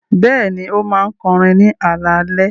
Bẹ́ẹ̀ni, ó máa ń kọrin ní alaalẹ́.